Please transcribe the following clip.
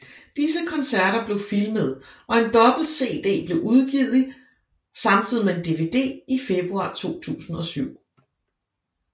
Disse koncerter blev filmet og en dobbelt CD blev udgivet samtidig med en DVD i februar 2007